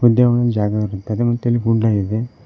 ಹಿಂದೆ ಒಂದು ಜಾಗ ಇರುತ್ತದೆ ಮತ್ತೆ ಇಲ್ಲಿ ಗುಡ್ಡ ಇದೆ.